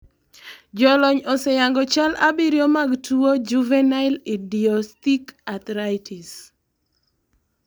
jolony oseyango chal abirio mag tuo juvenile idiopsthic arthritis